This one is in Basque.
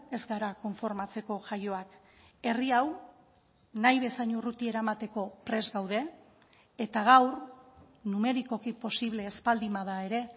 ez gara konformatzeko jaioak herri hau nahi bezain urruti eramateko prest gaude eta gaur numerikoki posible ez baldin bada ere